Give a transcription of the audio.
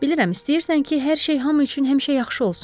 Bilirəm, istəyirsən ki, hər şey hamı üçün həmişə yaxşı olsun.